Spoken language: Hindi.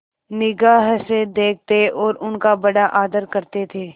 निगाह से देखते और उनका बड़ा आदर करते थे